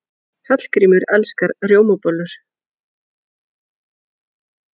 Hallgrímur elskar rjómabollur.